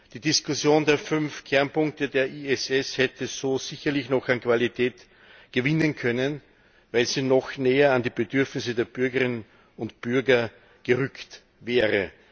Die Diskussion der fünf Kernpunkte der ISS hätte so sicherlich noch an Qualität gewinnen können, weil sie noch näher an die Bedürfnisse der Bürgerinnen und Bürger gerückt wäre.